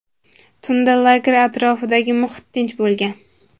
Tunda lager atrofidagi muhit tinch bo‘lgan.